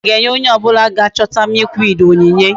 Eze ga enye onye obula ga chota milkweed onyinye